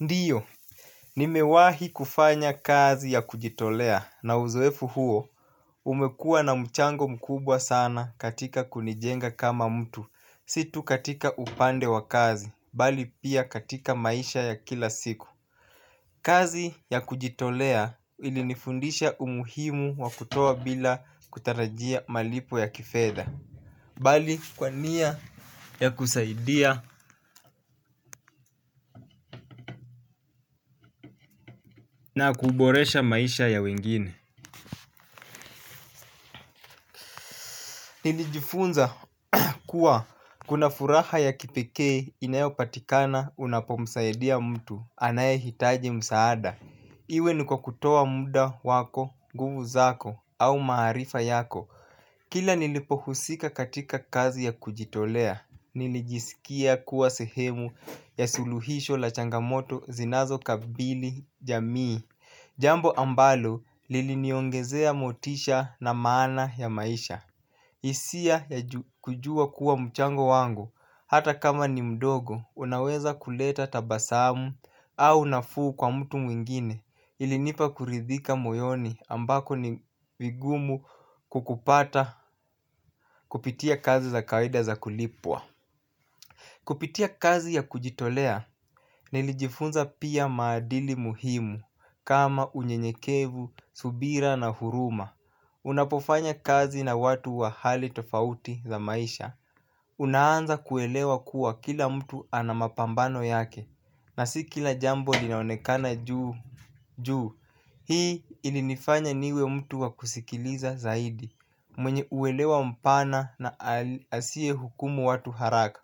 Ndiyo. Nimewahi kufanya kazi ya kujitolea na uzoefu huo umekua na mchango mkubwa sana katika kunijenga kama mtu. Si tu katika upande wa kazi mbali pia katika maisha ya kila siku. Kazi ya kujitolea ilinifundisha umuhimu wa kutoa bila kutarajia malipo ya kifedha mbali kwa nia ya kusaidia na kuboresha maisha ya wengine nilijifunza kuwa kuna furaha ya kipekee inayopatikana unapomsaidia mtu anayehitaji msaada. Iwe niko kutoa muda wako, nguvu zako au maarifa yako. Kila nilipohusika katika kazi ya kujitolea, nilijisikia kuwa sehemu ya suluhisho la changamoto zinazo kabili jamii. Jambo ambalo liliniongezea motisha na maana ya maisha. Hisia ya kujua kuwa mchango wangu hata kama ni mdogo unaweza kuleta tabasamu au nafuu kwa mtu mwingine ilinipa kuridhika moyoni ambako ni vigumu kukupata kupitia kazi za kawaida za kulipwa. Kupitia kazi ya kujitolea nilijifunza pia maadili muhimu kama unyenyekevu subira na huruma. Unapofanya kazi na watu wa hali tofauti za maisha unaanza kuelewa kuwa kila mtu ana mapambano yake na si kila jambo linaonekana juu hii ilinifanya niwe mtu wa kusikiliza zaidi mwenye uelewa mpana na asiye hukumu watu haraka.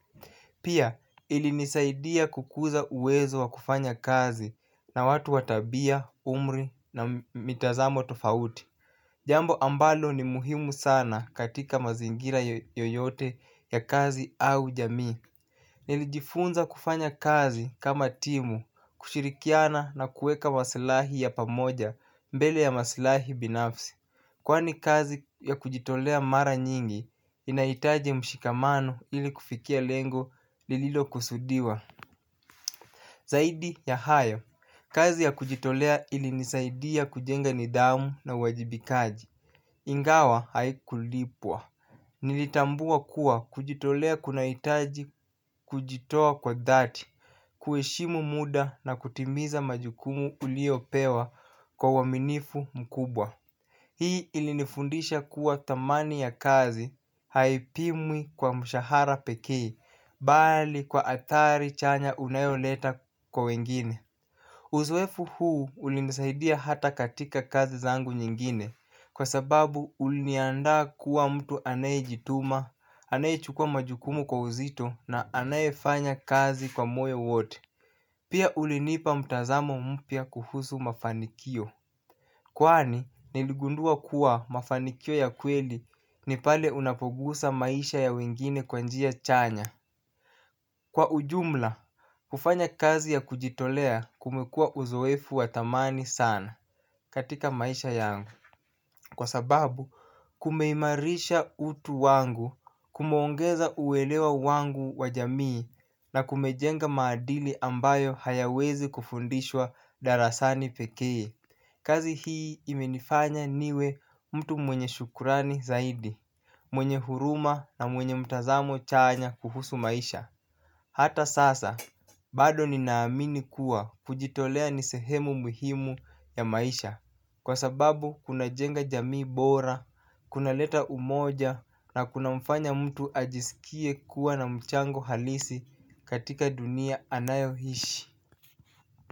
Pia ilinisaidia kukuza uwezo wa kufanya kazi na watu wa tabia, umri na mitazamo tofauti. Jambo ambalo ni muhimu sana katika mazingira yoyote ya kazi au jamii. Nilijifunza kufanya kazi kama timu kushirikiana na kuweka masilahi ya pamoja mbele ya masilahi binafsi kwani kazi ya kujitolea mara nyingi inahitaji mshikamano ili kufikia lengo lililo kusudiwa. Zaidi ya hayo, kazi ya kujitolea ili nisaidia kujenga nidhamu na uwajibikaji ingawa haikulipwa nilitambua kuwa kujitolea kunahitaji kujitoa kwa dhati kuheshimu muda na kutimiza majukumu uliyopewa kwa uwaminifu mkubwa. Hii ilinifundisha kuwa dhamani ya kazi haipimwi kwa mshahara pekee mbali kwa athari chanya unayoleta kwa wengine uzoefu huu ulinisaidia hata katika kazi zangu zingine kwa sababu uliniandaa kuwa mtu anayejituma anayechukuwa majukumu kwa uzito na anayefanya kazi kwa moyo wote pia ulinipa mtazamo mpya kuhusu mafanikio kwani niligundua kuwa mafanikio ya kweli ni pale unapogusa maisha ya wengine kwa njia chanya kwa ujumla kufanya kazi ya kujitolea kumekuwa uzoefu wa dhamani sana katika maisha yangu kwa sababu kumeimarisha utu wangu kumeongeza uelewa wangu wa jamii na kumejenga maadili ambayo hayawezi kufundishwa darasani pekee kazi hii imenifanya niwe mtu mwenye shukrani zaidi mwenye huruma na mwenye mtazamo chanya kuhusu maisha. Hata sasa bado ninaamini kuwa kujitolea ni sehemu muhimu ya maisha kwa sababu kunajenga jamii bora kunaleta umoja na kunamfanya mtu ajisikie kuwa na mchango halisi katika dunia anayoishi.